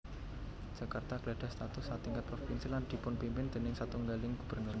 Jakarta gadhah status satingkat provinsi lan dipunpimpin déning satunggaling gubernur